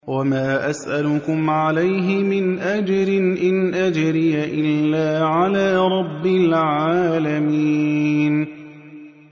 وَمَا أَسْأَلُكُمْ عَلَيْهِ مِنْ أَجْرٍ ۖ إِنْ أَجْرِيَ إِلَّا عَلَىٰ رَبِّ الْعَالَمِينَ